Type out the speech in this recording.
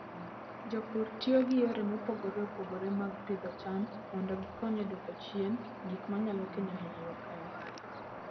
Jopur tiyo gi yore mopogore opogore mag pidho cham mondo gikony e dwoko chien gik manyalo kelo hinyruok e ohala.